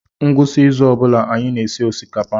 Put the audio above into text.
Ngwụsị izu ọ bụla anyị na-esi osikapa.